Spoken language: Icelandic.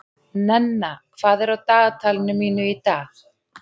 Nenna, hvað er á dagatalinu mínu í dag?